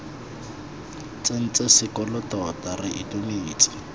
tsentse sekolo tota re itumetse